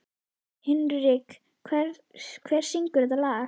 Hinrikka, hver syngur þetta lag?